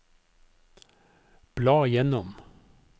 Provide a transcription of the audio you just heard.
bla gjennom